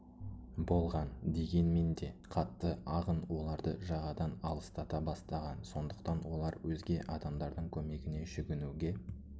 болған дегенмен де қатты ағын оларды жағадан алыстата бастаған сондықтан олар өзге адамдардын көмегіне жүгінуге